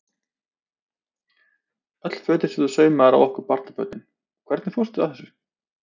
Öll fötin sem þú saumaðir á okkur barnabörnin, hvernig fórstu að þessu?